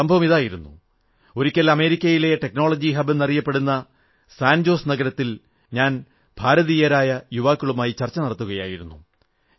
സംഭവമിതായിരുന്നു ഒരിക്കൽ അമേരിക്കയിലെ technology hub എന്നറിയപ്പെടുന്ന സാൻജോസ് നഗരത്തിൽ ഞാൻ ഭാരതീയരായ യുവാക്കളുമായി ചർച്ച നടത്തുകയായിരുന്നു